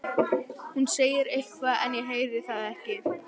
Hún segir eitthvað en ég heyri það ekki.